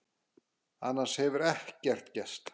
Annars hefur ekkert gerst